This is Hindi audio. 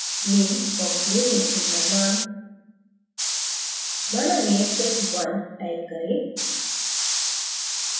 name box में reaction का name माना reaction1 type करें